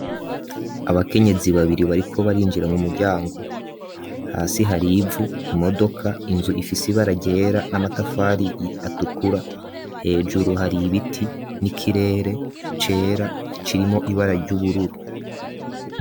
Abakenyezi babiri bariko barinjira mu muryango hasi hari ivu, imodoka, inzu ifise ibara ryera n'amatafari atukura, hejuru hari ibiti n'ikirere cera kirimwo ibara ry'ubururu.